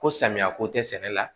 Ko samiya ko tɛ sɛnɛ la